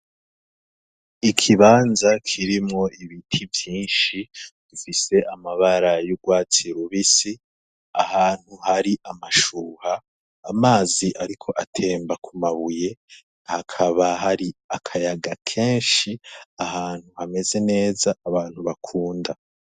Ikibanza kirimwo ibiti vyinshi bifise amabara y'urwatsi rubisi ahantu hari amashuha amazi, ariko atemba ku mabuye hakaba hari akayaga kenshi ahantu hameze neza abantu bakunda.